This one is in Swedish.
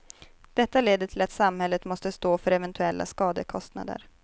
Detta leder till att samhället måste stå för eventuella skadekostnader.